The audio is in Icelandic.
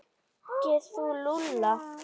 Þekkir þú Lúlla?